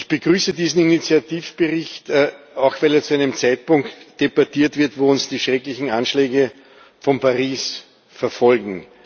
Ich begrüße diesen Initiativbericht, auch weil er zu einem Zeitpunkt debattiert wird, wo uns die schrecklichen Anschläge von Paris verfolgen.